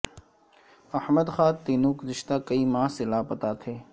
احمد خان تینو گزشتہ کئی ماہ سے لا پتہ تھے